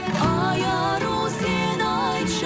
ай ару сен айтшы